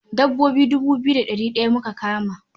Dabbobi dubu biyu da ɗari ɗaya muka kama.